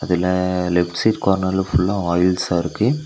இதுல left side கார்னர்ல ஃபுல்லா ஆயில்ஸ்ஸா இருக்கு.